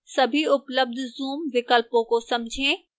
सभी उपलब्ध zoom विकल्पों को समझें